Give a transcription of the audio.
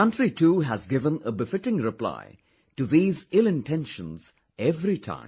The country too has given a befitting reply to these illintentions every time